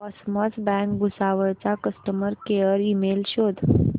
cosmos bank Bhusawal चा customer care email शोध